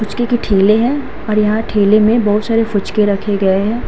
पुचके की टेले हैं और यहाँ टेले में बहुत सारी फुचके रखे गए हैं।